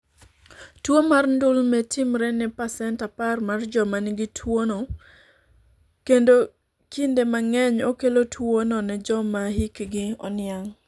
Tuwo mar ndulme timore ne pasent 10 mar joma nigi tuwono kendo kinde mang'eny okelo tuwono ne joma hikgi oniang '.